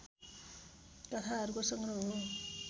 कथाहरूको संग्रह हो